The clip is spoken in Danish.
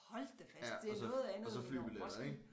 Hold da fast det er noget andet end Roskilde